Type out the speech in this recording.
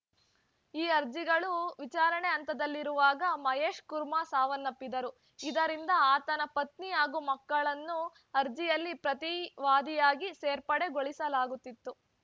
ಈ ಅರ್ಜಿಗಳು ವಿಚಾರಣೆ ಹಂತದಲ್ಲಿರುವಾಗ ಮಹೇಶ್‌ ಕುಮಾರ್‌ ಸಾವನ್ನಪ್ಪಿದ್ದರು ಇದರಿಂದ ಆತನ ಪತ್ನಿ ಹಾಗೂ ಮಕ್ಕಳನ್ನು ಅರ್ಜಿಯಲ್ಲಿ ಪ್ರತಿವಾದಿಯಾಗಿ ಸೇರ್ಪಡೆಗೊಳಿಸಲಾಗುತಿತ್ತು